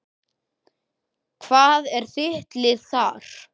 Hvað er þitt lið þar?